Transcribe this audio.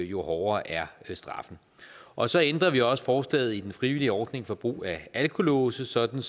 jo hårdere er straffen og så ændrer vi også forslaget i den frivillige ordning for brug af alkolåse sådan